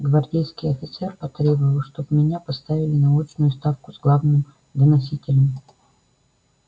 гвардейский офицер потребовал чтоб меня поставили на очную ставку с главным доносителем